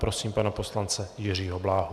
Prosím pana poslance Jiřího Bláhu.